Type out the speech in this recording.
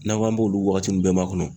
N'an k'an b'olu wagati nun bɛɛ makɔnɔ